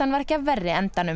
var ekki af verri endanum